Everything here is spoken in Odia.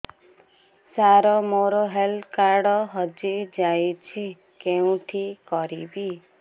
ସାର ମୋର ହେଲ୍ଥ କାର୍ଡ ହଜି ଯାଇଛି କେଉଁଠି କରିବି